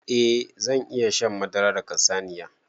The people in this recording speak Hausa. Eh zan iya shan madara daga saniya.